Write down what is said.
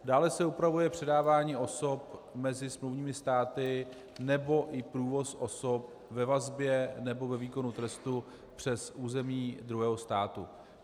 Dále se upravuje předávání osob mezi smluvními státy nebo i průvoz osob ve vazbě nebo ve výkonu trestu přes území druhého státu.